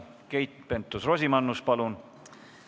Keit Pentus-Rosimannus, palun!